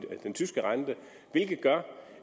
den tyske rente hvilket gør